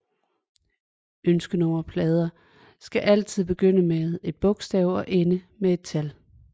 Ønskenummerplader skal altid begynde med et bogstav og ende med et tal